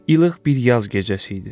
Ilıq bir yaz gecəsi idi.